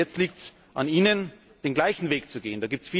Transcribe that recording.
Und jetzt liegt es an Ihnen, den gleichen Weg zu gehen.